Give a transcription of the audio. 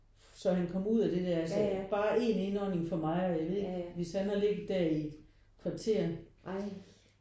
Så han kom ud af det der altså bare en indånding for mig og jeg ved ikke hvis han havde ligget der i et kvarter